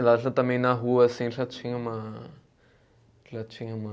E lá já também na rua assim, já tinha uma. Já tinha uma